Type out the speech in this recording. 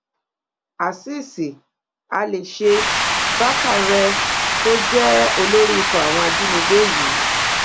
azeez alèṣe bákàrẹ tó jẹ́ olórí ikọ̀ àwọn ajínigbé yìí